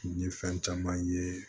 N ye fɛn caman ye